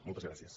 moltes gràcies